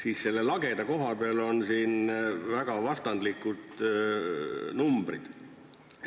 Aga selle lageda koha peal on väga vastandlikud numbrid.